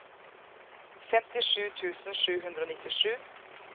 femtisju tusen sju hundre og nittisju